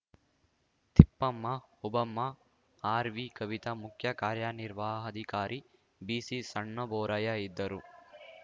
ತಿಪ್ಪಮ್ಮ ಓಬಮ್ಮ ಆರ್‌ವಿಕವಿತ ಮುಖ್ಯಕಾರ್ಯನಿರ್ವಹಾಧಿಕಾರಿ ಬಿಸಿಸಣ್ಣಬೋರಯ್ಯ ಇದ್ದರು